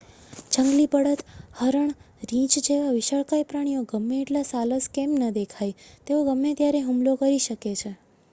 જંગલી બળદ હરણ રીછ જેવા વિશાળકાય પ્રાણીઓ ગમે એટલા સાલસ કેમ ન દેખાય તેઓ ગમે ત્યારે હુમલો કરી શકે છે